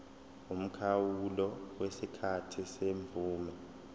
umkhawulo wesikhathi semvume